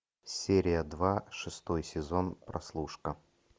серия два шестой сезон прослушка